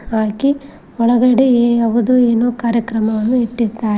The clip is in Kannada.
ಹಾಗೆ ಒಳಗಡೆ ಯಾವುದು ಏನು ಕಾರ್ಯಕ್ರಮವನ್ನು ಇಟ್ಟಿದ್ದಾ--